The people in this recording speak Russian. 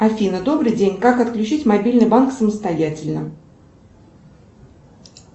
афина добрый день как отключить мобильный банк самостоятельно